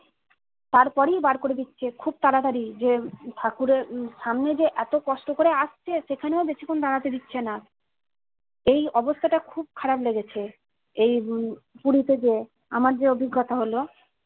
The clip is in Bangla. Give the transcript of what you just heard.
তার পরেই বার করে দিচ্ছে খুব তাড়াতাড়ি যে ঠাকুরের সামনে যে এত কষ্ট করে আসছে সেখানেও বেশি ক্ষণ দাঁড়াতে দিচ্ছেনা এই অবস্থাটা খুব খারাপ লেগেছে এই উম পুরিতে যেয়ে আমার যে অভিজ্ঞতা হলো